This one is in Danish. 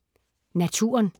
Naturen